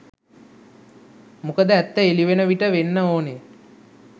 මොකද ඇත්ත එළිවන විට වෙන්න ඕන